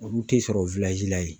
Olu tɛ sɔrɔ la yen.